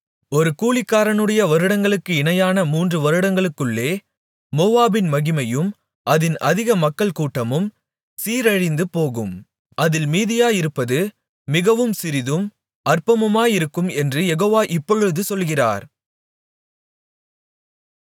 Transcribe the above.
ஒரு கூலிக்காரனுடைய வருடங்களுக்கு இணையான மூன்று வருடங்களுக்குள்ளே மோவாபின் மகிமையும் அதின் அதிக மக்கள் கூட்டமும் சீரழிந்துபோகும் அதில் மீதியாயிருப்பது மிகவும் சிறிதும் அற்பமுமாயிருக்கும் என்று யெகோவா இப்பொழுது சொல்கிறார்